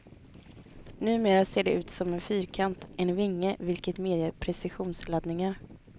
Numera ser de ut som en fyrkant, en vinge, vilken medger precisionslandningar.